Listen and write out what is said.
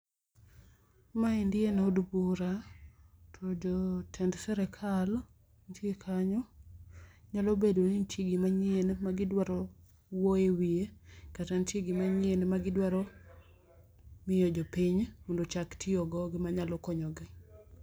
Ma endi en od bura, to jotend sirkal nitie kanyo, nyalo bedo ni nitie gimanyien ma gi dwaro wuoyo e wiye kata nitie gimanyien ma gi dwaro miyo jo piny mondo ochak tiyo go gi ma nyalo konyo gi.